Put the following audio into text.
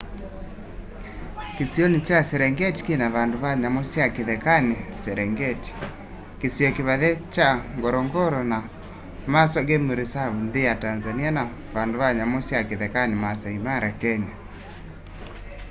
kĩsĩonĩ kya serengetĩ kĩna vandũ va nyamũ sya kĩthekanĩ serengetĩ kĩsĩo kĩvathe kya ngorongoro na maswa game reserve nthĩ ya tanzanĩa na vandũ va nyamũ sya kĩthekanĩ maasaĩ mara kenya